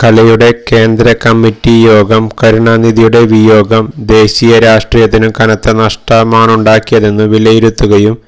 കലയുടെ കേന്ദ്ര കമ്മറ്റി യോഗം കരുണാനിധിയുടെ വിയോഗം ദേശീയ രാഷ്ട്രീയത്തിനു കനത്ത നഷ്ടമാണുണ്ടാക്കിയതെന്നു വിലയിരുത്തുകയും